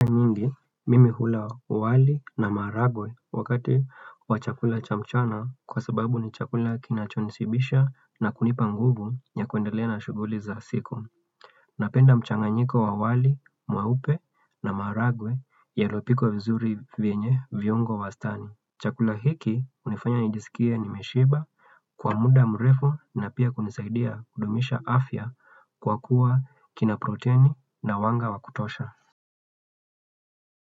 Mara nyingi mimi hula wali na maharagwe wakati wa chakula cha mchana kwa sababu ni chakula kinachonishibisha na kunipa nguvu ya kuendelea na shughuli za siku. Napenda mchanganyiko wa wali mweupe na maharagwe yaliyopikwa vizuri yenye viungo wastani. Chakula hiki hunifanya nijisikie nimeshiba kwa muda mrefu na pia hunisaidia kudumisha afya kwa kuwa kina protini na wanga wa kutosha.